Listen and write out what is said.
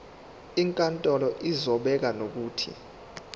inkantolo izobeka nokuthi